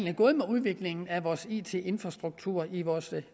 er gået med udviklingen af it infrastrukturen i vores